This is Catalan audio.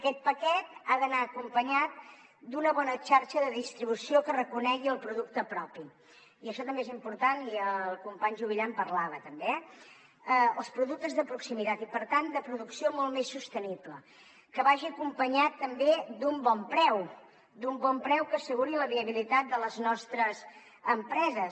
aquest paquet ha d’anar acompanyat d’una bona xarxa de distribució que reconegui el producte propi i això també és important i el company juvillà en parlava també els productes de proximitat i per tant de producció molt més sostenible que vagi acompanyat també d’un bon preu d’un bon preu que asseguri la viabilitat de les nostres empreses